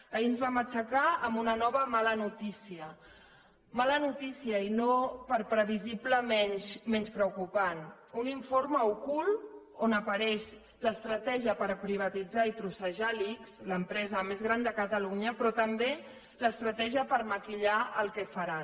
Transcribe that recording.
ahir ens vam aixecar amb una nova mala notícia mala notícia i no per previsible menys preocupant un informe ocult on apareix l’estratègia per privatitzar i trossejar l’ics l’empresa més gran de catalunya però també l’estratègia per maquillar el que faran